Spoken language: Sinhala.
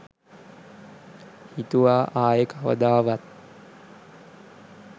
හිතුවා ආයෙ කවදාවත්.